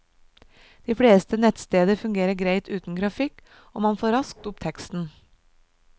De fleste nettsteder fungerer greit uten grafikk, og man får raskt opp teksten.